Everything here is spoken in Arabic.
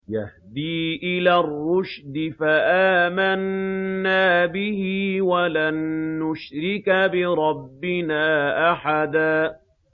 يَهْدِي إِلَى الرُّشْدِ فَآمَنَّا بِهِ ۖ وَلَن نُّشْرِكَ بِرَبِّنَا أَحَدًا